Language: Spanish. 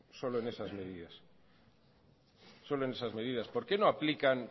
solo en esas medidas por qué no aplican